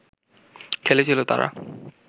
খেলেছিল তারা